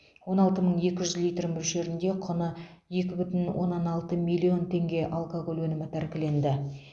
он алты мың екі жүз литр мөлшерінде құны екі бүтін оннан алты миллион теңге алкоголь өнімі тәркіленді